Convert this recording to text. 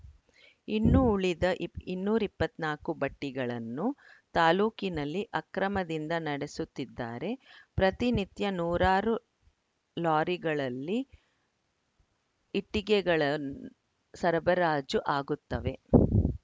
ಇನ್ನು ಉಳಿದ ಇ ಇನ್ನೂರ್ ಇಪ್ಪತ್ತ್ ನಾಲ್ಕು ಭಟ್ಟಿಗಳನ್ನು ತಾಲೂಕಿನಲ್ಲಿ ಅಕ್ರಮದಿಂದ ನಡೆಸುತ್ತಿದ್ದಾರೆ ಪ್ರತಿನಿತ್ಯ ನೂರಾರು ಲಾರಿಗಳಲ್ಲಿ ಇಟ್ಟಿಗೆಗಳ ಸರಬರಾಜು ಆಗುತ್ತವೆ